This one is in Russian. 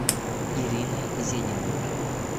ириной зениной